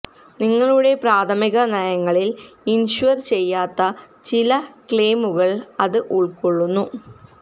നിങ്ങളുടെ പ്രാഥമിക നയങ്ങളിൽ ഇൻഷ്വർ ചെയ്യാത്ത ചില ക്ലെയിമുകൾ അത് ഉൾക്കൊള്ളുന്നു